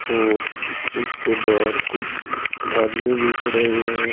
और इसके बाहर कुछ आदमी भी खड़े हुए हैं।